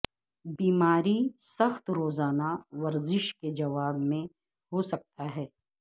بیماری سخت روزانہ ورزش کے جواب میں ہو سکتا ہے